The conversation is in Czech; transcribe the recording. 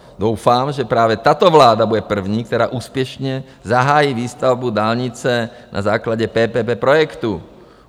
Doufám, že právě tato vláda bude první, která úspěšně zahájí výstavbu dálnice na základě PPP projektu.